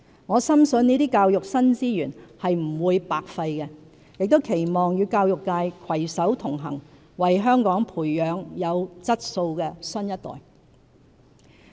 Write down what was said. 我深信這些教育新資源是不會白費的，亦期望與教育界攜手同行，為香港培養有質素的新一代。